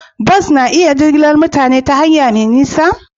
Bas na iya jigilar mutane ta hanya mai nisa?